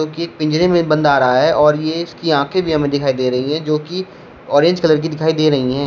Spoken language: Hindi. ये पिंजरे में बंद आ रहा है और ये इसकी आंखें भी हमें दिखाई दे रही है जोकी ऑरेंज कलर की दिखाई दे रही है।